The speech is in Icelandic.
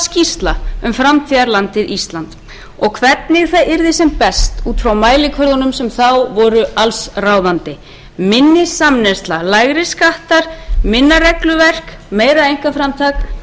skýrsla um framtíðarlandið ísland og hvernig það yrði sem best út frá mælikvörðunum sem þá voru allsráðandi minni samneysla lægri skattar minna regluverk meira einkaframtak